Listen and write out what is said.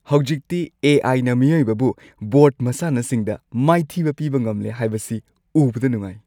ꯍꯧꯖꯤꯛꯇꯤ ꯑꯦ.ꯑꯥꯏ ꯅ ꯃꯤꯑꯣꯏꯕꯕꯨ ꯕꯣꯔꯗ ꯃꯁꯥꯟꯅꯁꯤꯡꯗ ꯃꯥꯏꯊꯤꯕ ꯄꯤꯕ ꯉꯝꯂꯦ ꯍꯥꯏꯕꯁꯤ ꯎꯕꯗ ꯅꯨꯡꯉꯥꯢ꯫